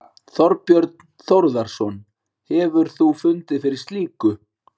Þorbjörn Þórðarson: Hefur þú fundið fyrir slíku?